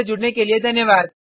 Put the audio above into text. हमसे जुड़ने के लिए धन्यवाद